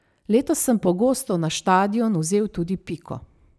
Letos sem pogosto na štadion vzel tudi Piko.